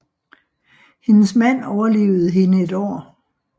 Hendes mand overlevede hende et år